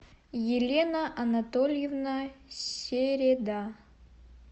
елена анатольевна середа